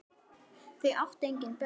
Þau áttu engin börn.